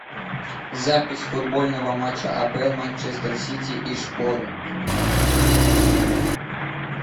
запись футбольного матча апл манчестер сити и шпоры